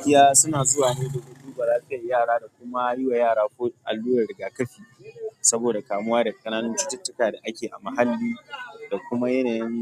Kiya suna zuwa ne domin duba, lafiyar yara da kuma yi wa yara allurar rigakafi saboda kamuwa da ƙananun cututtuka da ake a mahalli da kuma yanayin